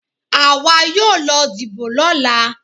Àwa yóò lọ dìbò lọ́la.